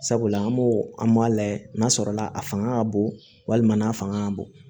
Sabula an b'o an m'a layɛ n'a sɔrɔ la a fanga ka bon walima n'a fanga ka bon